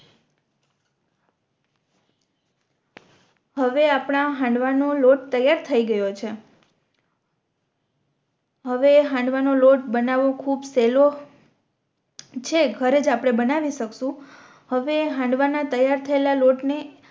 હવે આપણા હાંડવા નો લોટ તૈયાર થઈ ગયો છે હવે હાંડવા નો લોટ બનાવો ખૂબ સેહલો છે ઘરેજ આપણે બનાવી શકશું હવે હાંડવા ના તૈયાર થયેલા લોટ ને